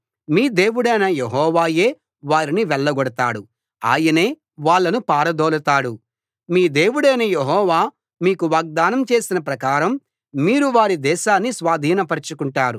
మీ దేవుడైన యెహోవాయే వారిని వెళ్ళగొడతాడు ఆయనే వాళ్ళను పారదోలతాడు మీ దేవుడైన యెహోవా మీకు వాగ్దానం చేసిన ప్రకారం మీరు వారి దేశాన్ని స్వాధీన పరచుకుంటారు